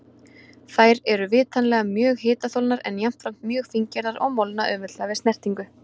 Þær eru vitanlega mjög hitaþolnar, en jafnframt mjög fíngerðar og molna auðveldlega við snertingu.